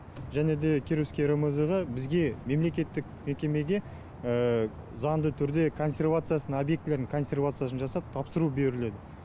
және те кировский рмз ға бізге мемлекеттік мекемеде заңды түрде консервациясын объектілердің консервациясын жасап тапсыру беріледі